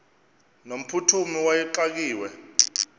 no mphuthumi wayexakiwe